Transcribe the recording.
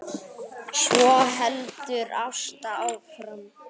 Svo heldur Ásta áfram